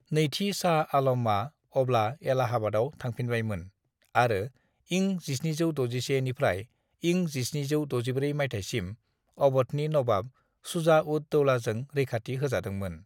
नैथि शाह आलमया अब्ला एलाहाबादयाव थांफिनबायमोन आरो इं 1761 निफ्राय इं 1764 मायथाइसिम अव'धनि नवाब शुजा-उद-दौलाजों रैखाथि होजादोंमोन।